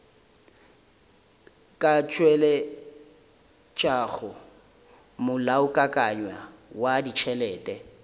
ka tšweletšago molaokakanywa wa ditšhelete